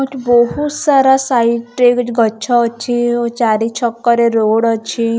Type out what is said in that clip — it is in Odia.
ଗୋଟେ ବହୁତ ସାରା ସାଇଡ୍‌ ରେ ଗଛ ଅଛି ଚାରିଛକରେ ରୋଡ୍‌ ଅଛି ।